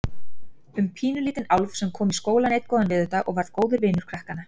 Um pínulítinn álf sem kom í skólann einn góðan veðurdag og varð góður vinur krakkanna.